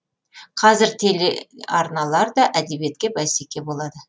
қазір телеарналар да әдебиетке бәсеке болады